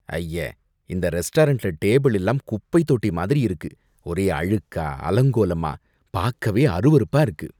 ஐய்ய! இந்த ரெஸ்டாரண்ட்ல டேபிள் எல்லாம் குப்பைத் தொட்டி மாதிரி இருக்கு, ஒரே அழுக்கா, அலங்கோலமா, பாக்கவே அருவருப்பா இருக்கு.